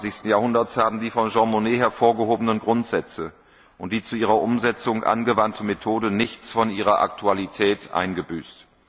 21. Jahrhunderts, haben die von Jean Monnet hervorgehobenen Grundsätze und die zu ihrer Umsetzung angewandte Methode nichts von ihrer Aktualität eingebüßt.